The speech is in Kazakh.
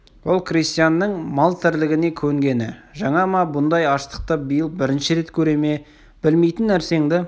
ол крестьянның мал тірлігіне көнгені жаңа ма бұндай аштықты биыл бірінші рет көре ме білмейтін нәрсеңді